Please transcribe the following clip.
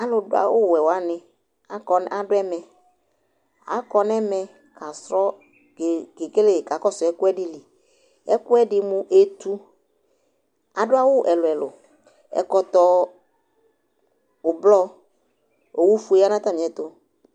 alʊ dʊ awu wɛ wanɩ kɔ nʊ ɛmɛ, akakɔsu ɛkuɛdɩ li, ɛkʊɛdɩ mʊ etu, adʊ awu ɛlʊɛlʊ, ɛkɔtɔ avavlitsɛ, owufue ya nʊ atamiɛtʊ